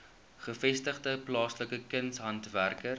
gevestigde plaaslike kunshandwerkers